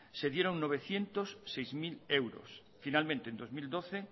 se dieron novecientos seis mil euros finalmente en dos mil doce